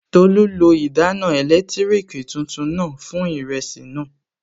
Tolú lo ìdáná ẹ̀lẹ́tírìkì tuntun náà fún ìrẹsì náà